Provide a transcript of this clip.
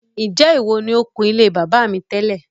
Ṣé ìwọ ni o kun ilé bàbá mi tẹ́lẹ̀?